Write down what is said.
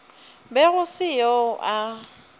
be go se yo a